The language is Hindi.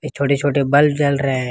छोटे छोटे बल्ब जल रहे हैं।